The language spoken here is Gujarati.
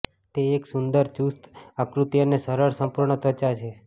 તે એક સુંદર ચુસ્ત આકૃતિ અને સરળ સંપૂર્ણ ત્વચા છે